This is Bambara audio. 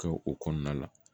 Kɛ o kɔnɔna la